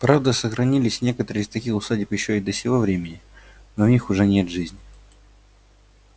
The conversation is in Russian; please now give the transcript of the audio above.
правда сохранились некоторые из таких усадеб ещё и до сего времени но в них уже нет жизни